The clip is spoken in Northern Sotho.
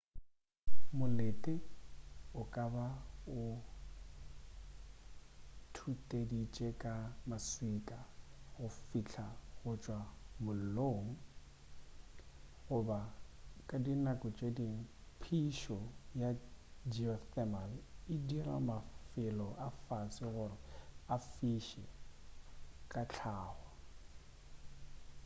molete o ka ba o thuteditšwe ka maswika a go fiša go tšwa mollong goba ka di nako tše dingwe phišo ya geothermal e dira mafelo a fase gore a fiše ka hlago